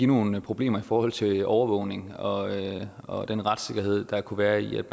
nogle problemer i forhold til overvågning og og den retssikkerhed der kunne være i at